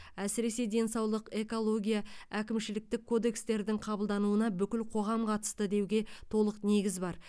әсіресе денсаулық экология әкімшіліктік кодекстердің қабылдануына бүкіл қоғам қатысты деуге толық негіз бар